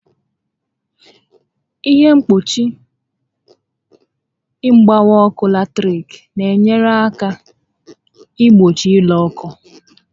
Ihe mkpuchi mgbawa ọkụ latiriki n'enye àkà igbochi ire ọkụ